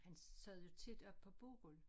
Han sad jo tit oppe på Bokul